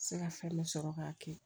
Se ka fɛn bɛɛ sɔrɔ k'a kɛ